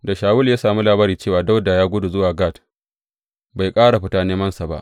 Da Shawulu ya sami labari cewa Dawuda ya gudu zuwa Gat, bai ƙara fita nemansa ba.